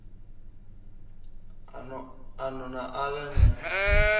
a no na aḽa ni